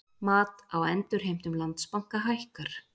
Mat á endurheimtum Landsbanka hækkar